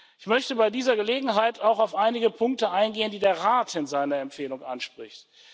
Ich möchte bei dieser Gelegenheit auch auf einige Punkte eingehen, die der Rat in seiner Empfehlung anspricht.